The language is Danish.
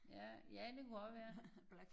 Ja ja det kunne også være